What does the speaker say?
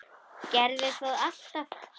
Gerði það alltaf.